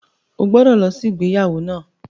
O gbọ́dọ̀ lọ sí ìgbéyàwó náà!